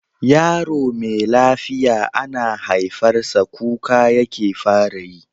Yaro me lafiya ana haifar sa kuka yake fara yi.